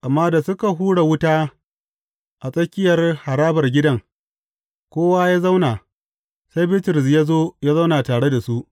Amma da suka hura wuta a tsakiyar harabar gidan, kowa ya zauna, sai Bitrus ya zo ya zauna tare da su.